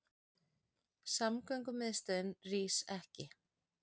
Samgöngumiðstöðin rís ekki